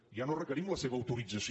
ja no requerim la seva autorització